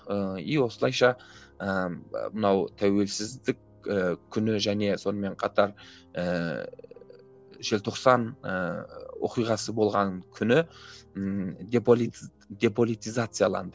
ыыы и осылайша ыыы мынау тәуелсіздік ііі күні және сонымен қатар ііі желтоқсан ііі оқиғасы болған күні ммм деполитизацияланды